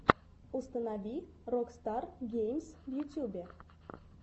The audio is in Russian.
установи рокстар геймс в ютубе